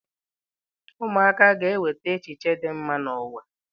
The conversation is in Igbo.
Ụmụaka ga-eweta echiche dị mma n'ụwa.